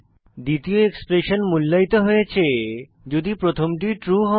দ্বিতীয় এক্সপ্রেশন মূল্যায়িত হয়েছে যদি প্রথমটি ট্রু হয়